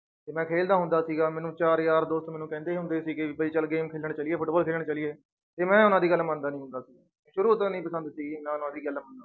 ਤੇ ਮੈਂ ਖੇਲਦਾ ਹੁੰਦਾ ਸੀਗਾ ਮੈਨੂੰ ਚਾਰ ਯਾਰ ਦੋਸਤ ਮੈਨੂੰ ਕਹਿੰਦੇ ਹੁੰਦੇ ਸੀਗੇ ਵੀ ਚੱਲ game ਖੇਲਣ ਚੱਲੀਏ, ਫੁਟਬਾਲ ਖੇਲਣ ਚੱਲੀਏ ਤੇ ਮੈਂ ਉਹਨਾਂ ਦੀ ਗੱਲ ਮੰਨਦਾ ਨੀ ਹੁੰਦਾ ਸੀ, ਸ਼ੁਰੂ ਤੋਂ ਨੀ ਪਸੰਦ ਸੀਗੀ ਦੀ ਗੱਲ